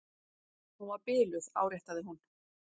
Hún var biluð, áréttaði hún.